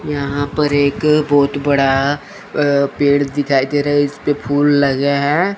यहां पर एक बहोत बड़ा अ पेड़ दिखाई दे रहा है इसपे फूल लगे हैं।